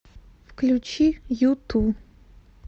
включи юту